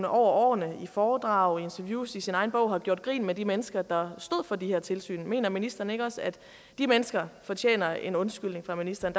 årene i foredrag i interviews og i sin egen bog har gjort grin med de mennesker der stod for de her tilsyn mener ministeren ikke også at de mennesker fortjener en undskyldning fra ministeren